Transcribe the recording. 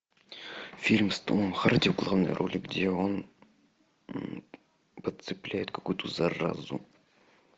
фильм с томом харди в главной роли где он подцепляет какую то заразу